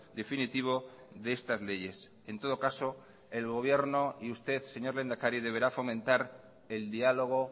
definitivo de estas leyes en todo caso el gobierno y usted señor lehendakari deberá fomentar el diálogo